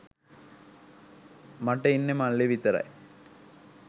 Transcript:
මට ඉන්නෙ මල්ලි විතරයි.